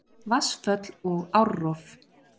Vatnsföll og árrof